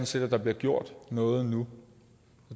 set at der bliver gjort noget nu